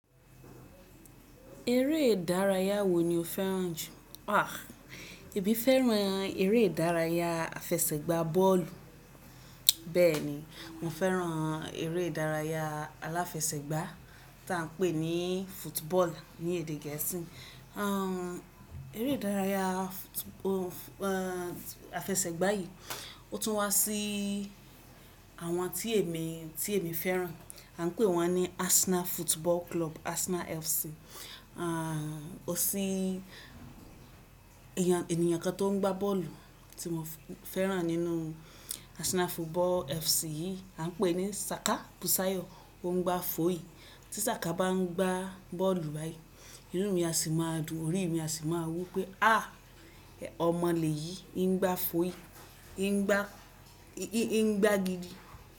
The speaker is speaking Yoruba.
Eré ìdárayá wo ni o fẹ́ràn jù? À, èmi fẹ́ràn eré ìdárayá àfesẹ̀gbá bọ́ọ̀lù. Bẹ́ẹ̀ ni, mo fẹ́ràn eré ìdárayá aláfẹsẹ̀gbá tí à n pè ní football ní èdè gẹ̀ẹ́sì. Eré ìdárayá àfesẹ̀gbá yìí, ó tún wá sí àwọn tí èmi, tí èmi fẹ́ràn. A n pè wọ́n ní Arsenal Football Club, Arsenal FC. O sì, ènìyàn kan tó n gbá bọ́ọ̀lù tí mo fẹ́ràn nínú Arsenal Football FC yìí, a n pè ní Saka Busayo. Ó n gbá fọyí. Tí Saka bá n gbá bọ́ọ̀lù báyìí, inú mi á sì máa dùn, orí mi á sì máa wu pé à, ọmọ lè yìí n gbá fọyí, n gbá, n gbá gidi.